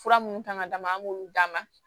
Fura minnu kan ka d'a ma an b'olu d'a ma